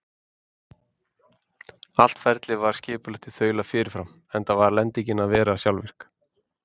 Allt ferlið var skipulagt í þaula fyrirfram, enda varð lendingin að vera sjálfvirk.